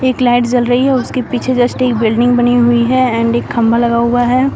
एक लाइट जल रही है उसके पीछे जस्ट एक बिल्डिंग बनी हुई है एंड एक खंभा लगा हुआ है।